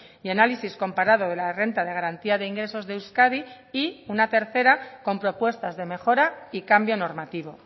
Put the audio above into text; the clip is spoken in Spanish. y análisis comparado de la renta de garantía de ingresos de euskadi y una tercera con propuestas de mejora y cambio normativo